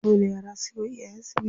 Dole yara suyi wa iyayen su biyayya.